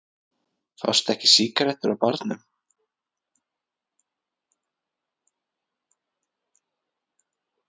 Fást ekki sígarettur á barnum?